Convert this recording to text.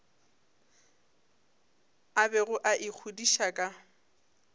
a bego a ikgodiša ka